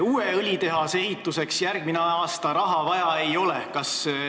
Uue õlitehase ehituseks järgmine aasta raha vaja ei ole.